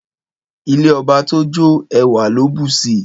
Ìlẹ́ ọbà tọ jọ, ẹwà lò busi